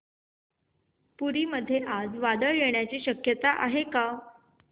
पुरी मध्ये आज वादळ येण्याची शक्यता आहे का